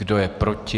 Kdo je proti?